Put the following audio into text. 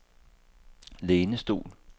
lænestol